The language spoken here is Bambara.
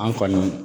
An kɔni